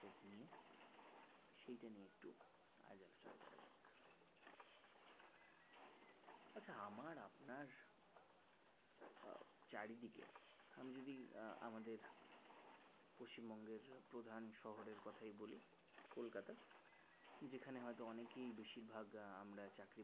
আমার আপনার চারিদিকে আমি যদি আ আমাদের পশ্চিমবঙ্গের প্রধান শহরের কথাই বলি কলকাতা যেখানে হয়তো অনেকেই বেশিরভাগ আমরা চাকরি-বাকরি